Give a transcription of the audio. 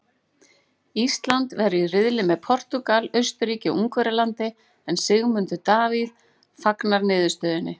Ísland verður í riðli með Portúgal, Austurríki og Ungverjalandi en Sigmundur Davíð fagnar niðurstöðunni.